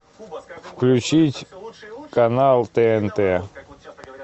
включить канал тнт